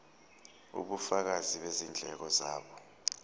ubufakazi bezindleko zabo